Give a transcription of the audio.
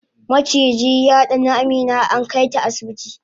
maciji yadani Amina ankaita asibiti